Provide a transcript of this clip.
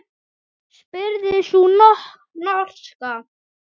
spurði sú norska.